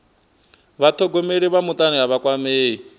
vhathogomeli vha mutani a vha kwamei